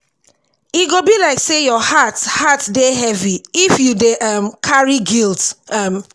e go be like sey your heart heart dey heavy if you dey um carry guilt. um